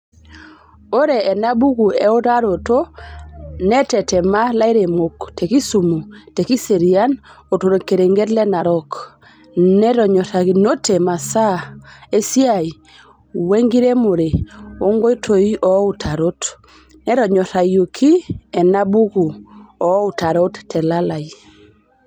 Ore enabuku eutaroto netetema lairemok te kisumu, te kiserian oo torkerenket le Narok, netonyorakinote masaa esiai wenenkiremore oo nkoitoi ooutarot. Netonyorayioki ena buku ooutarot telalai.